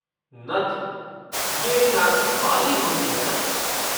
नथ, ये नाक की बाली होती है ना?